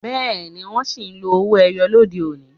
Bẹẹni, wọn sì ń lo owó ẹyọ lóde òní.